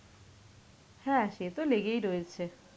হ্যাঁ সে তো লেগেই রয়েছে.